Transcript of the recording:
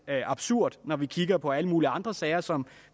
absurd når vi kigger på alle mulige andre sager som